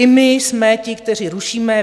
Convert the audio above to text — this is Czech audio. I my jsme ti, kteří rušíme.